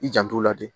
I jant'o la dɛ